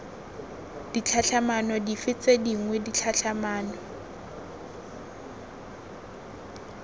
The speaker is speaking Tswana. ditlhatlhamano dife tse dingwe ditlhatlhamano